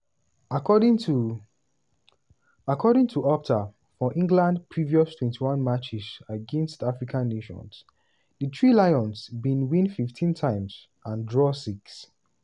according to according to opta for england previous 21 matches against african nations di three lions bin win 15 times and draw six.